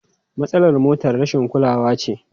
Matsalar motar rashin kulawa ce.